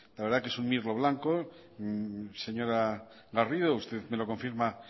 la verdad es que es un mirlo blanco señora garrido usted me lo confirma